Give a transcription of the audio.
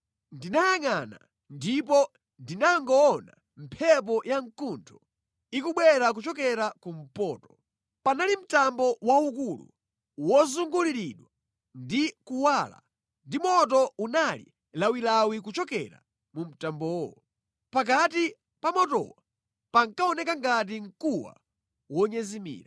Ndinayangʼana ndipo ndinangoona mphepo yamkuntho ikubwera kuchokera kumpoto. Panali mtambo waukulu wozunguliridwa ndi kuwala ndipo moto unali lawilawi kuchokera mu mtambowo. Pakati pa motowo pankaoneka ngati mkuwa wonyezimira.